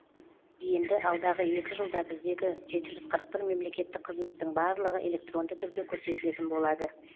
енді алдағы екі жылда біздегі жеті жүз қырық бір мемлекеттік қызметтің барлығы электронды түрде көрсетілетін болады